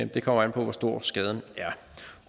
det kommer an på hvor stor skaden er